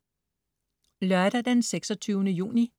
Lørdag den 26. juni